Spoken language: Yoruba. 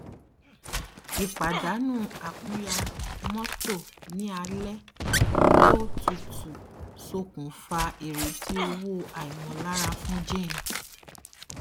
ìpàdánù àkúnya mọtò ní alẹ tó tutu ṣokùnfà ìrètí owó àìmọlára fún jane